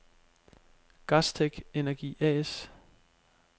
Gastech-Energi A/S